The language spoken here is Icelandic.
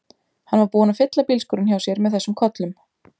Hann var búinn að fylla bílskúrinn hjá sér með þessum kollum.